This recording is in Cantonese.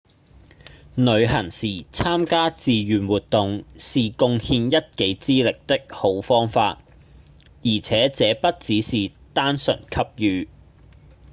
旅行時參加志願活動是貢獻一己之力的好方法而且這不只是單純給予